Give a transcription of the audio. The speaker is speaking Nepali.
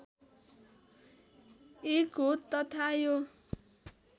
एक हो तथा यो